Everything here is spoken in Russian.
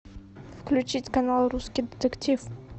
включить канал русский детектив